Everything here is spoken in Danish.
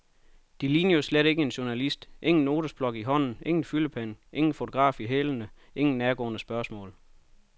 De ligner jo slet ikke en journalist, ingen notesblok i hånden, ingen fyldepen, ingen fotograf i hælene, ingen nærgående spørgsmål.